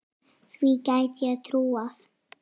Því gæti ég trúað